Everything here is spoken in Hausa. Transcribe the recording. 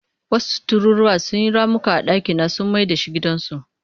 Wasu tururuwa sun yi ramuka a dakina sun mai da shi gidansu.